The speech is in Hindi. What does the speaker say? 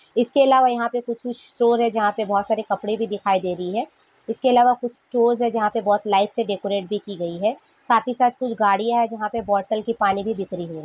इसके अलावा यहाँ पे कुछ-कुछ शोर हैं जहाँ पे बहुत सारे कपड़े भी दिखाई दे रही है इसके अलावा कुछ स्टोर्स है जहाँ पे बहुत लाइट से डेकोरेट भी की गयी है साथ ही साथ कुछ गाड़ीया है जहाँ पर बोटेल की पानी भी बिक रही हैं।